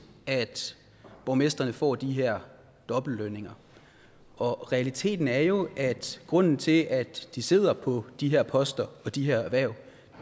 at borgmestrene får de her dobbeltlønninger realiteten er jo at grunden til at de sidder på de her poster og har de her hverv